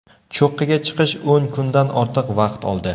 Cho‘qqiga chiqish o‘n kundan ortiq vaqt oldi.